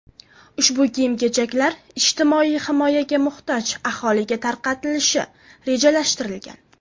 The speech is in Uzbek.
Ushbu kiyim-kechaklar ijtimoiy himoyaga muhtoj aholiga tarqatilishi rejalashtirilgan.